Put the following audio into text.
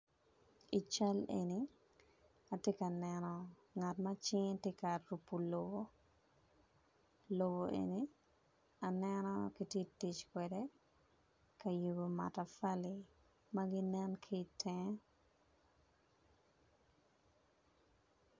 I cal eni atye ka neno ngat ma cinge tye ka pupo lobo lobo eni aneno kitye tic kwede kayubo matapali maginen kitenge.